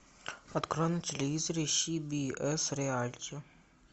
открой на телевизоре си би эс реалити